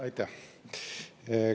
Aitäh!